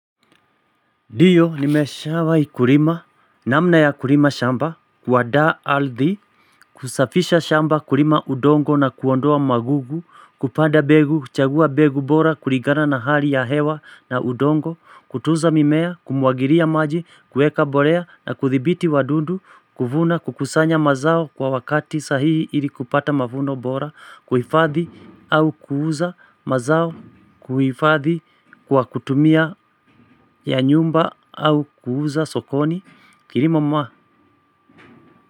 Diyo nimeshawai kurima namna ya kurima shamba kuadaa aldhi kusafisha shamba kurima udongo na kuondoa magugu kupanda begu kuchagua begu bora kurigana na hali ya hewa na udongo kutuza mimea kumwagiria maji kueka borea na kuthibiti wadundu kuvuna kukusanya mazao kwa wakati sahihi ili kupata mavuno bora kuhifadhi au kuuza mazao kuifadhi. Kwa kutumia ya nyumba au kuuza sokoni kirima mwa.